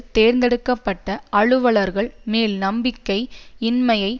தேர்ந்தெடுக்க பட்ட அலுவலர்கள் மேல் நம்பிக்கை இன்மையை